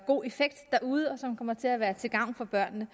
god effekt derude og som kommer til at være til gavn for børnene